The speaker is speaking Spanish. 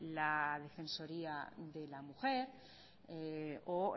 la defensoría de la mujer o